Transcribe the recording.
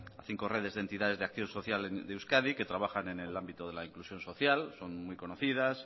a cinco redes de entidades de acción social de euskadi que trabajan en el ámbito de la inclusión social son muy conocidas